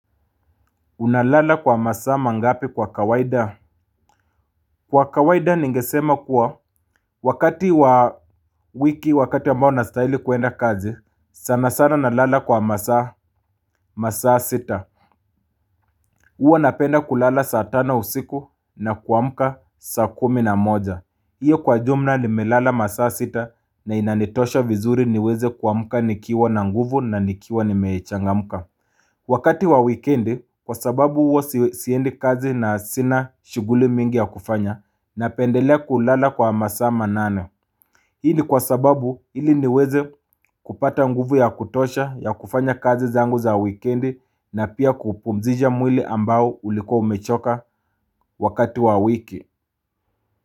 Unalala kwa masaa mangapi kwa kawaida? Kwa kawaida ningesema kuwa wakati wa wiki wakati ambao nastahili kuenda kazi, sana sana nalala kwa masaa masaa sita. Uwa napenda kulala saa tano usiku na kuamka saa kumi na moja. Iyo kwa jumla nimelala masaa sita na inanitosha vizuri niweze kuamka nikiwa na nguvu na nikiwa nimechangamka. Wakati wa wikendi kwa sababu huwa si siendi kazi na sina shughuli mingi ya kufanya napendelea kulala kwa masaa manane. Hii ni kwa sababu ili niweze kupata nguvu ya kutosha ya kufanya kazi zangu za wikendi na pia kupumzisha mwili ambao ulikuwa umechoka wakati wa wiki.